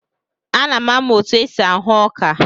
Ana m amụ otu esi ahụ ọka.